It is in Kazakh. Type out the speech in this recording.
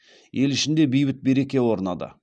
ел ішінде бейбіт береке орнады